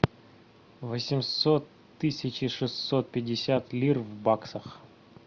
восемьсот тысяча шестьсот пятьдесят лир в баксах